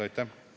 Aitäh!